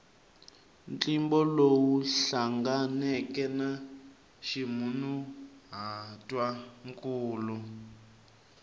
ntlimbo lowu hlanganeke na ximunhuhatwankulu